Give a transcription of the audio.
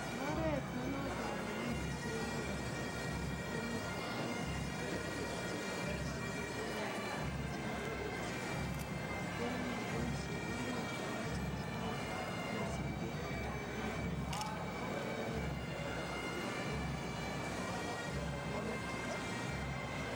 Oret nenoton nekibise bek komiten barak bek chekeboishen akobendi bek chechang asara kobaten ngeboishe oret nekisochin bek koboishen chetutikin ako mobolu ng'ung'unyek orateton kora oranotok eng minutik